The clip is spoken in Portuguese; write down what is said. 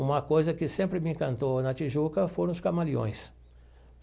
Uma coisa que sempre me encantou na Tijuca foram os camaleões.